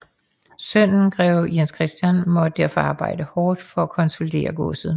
Sønnen greve Jens Christian måtte derfor arbejde hårdt for at konsolidere godset